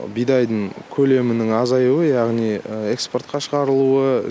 бидайдың көлемінің азаюы яғни экспортқа шығарылуы